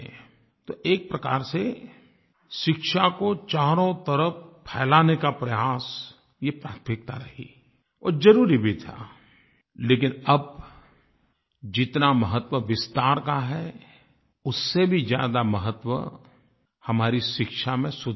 तो एक प्रकार से शिक्षा को चारों तरफ़ फ़ैलाने का प्रयास ये प्राथमिकता रही और ज़रूरी भी था लेकिन अब जितना महत्व विस्तार का है उससे भी ज़्यादा महत्व हमारी शिक्षा में सुधार का है